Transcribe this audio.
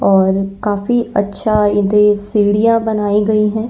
और काफी अच्छा इदे सीढ़ियां बनाई गई हैं।